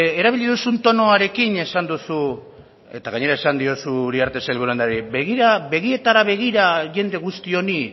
erabili duzun tonoarekin esan duzu eta gainera esan diozu uriarte sailburu andreari begira begietara begira jende guzti honi